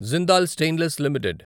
Jindal stainless limited